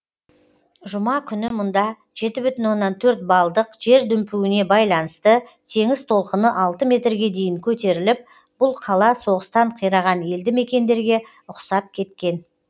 жұма күні мұнда жеті бүтін оннан төрт баллдық жер дүмпуіне байланысты теңіз толқыны алты метрге дейін көтеріліп бұл қала соғыстан қираған елді мекендерге ұқсап кеткен